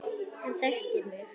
Hann þekkir mig.